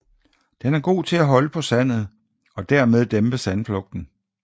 Den er god til at holde på sandet og dermed dæmpe sandflugten